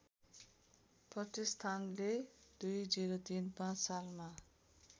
प्रतिष्ठानले २०३५ सालमा